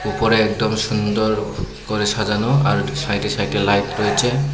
উপরে একদম সুন্দর করে সাজানো আর সাইডে সাইডে লাইট রয়েছে।